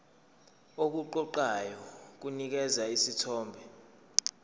okuqoqayo kunikeza isithombe